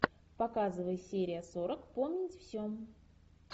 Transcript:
показывай серия сорок помнить все